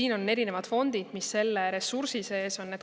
Siin on erinevad fondid, mis selle ressursi sees on.